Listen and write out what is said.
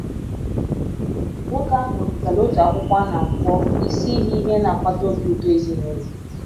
Nwoke ahụ wepụtara otu akwụkwọ a na - akpọ Isi Ihe Ihe Na - akpata Obi Ụtọ Ezinụlọ.